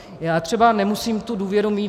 Já třeba nemusím tu důvěru mít.